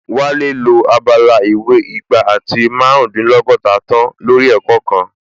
Wálé lo abala ìwé igba àti márùndínlọ́gọ́ta tán lórí ẹ̀kọ́ náà